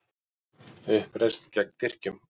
Uppreisn gegn Tyrkjum